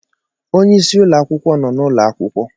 Onyeisi ụlọ akwụkwọ nọ n'ụlọ akwụkwọ